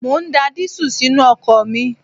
Mo ń da dísù sínú ọkọ̀ mi